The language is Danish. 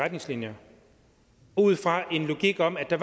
retningslinjer ud fra en logik om at der